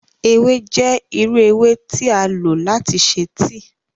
Ewe jẹ iru ewe ti a lo lati ṣe tíì.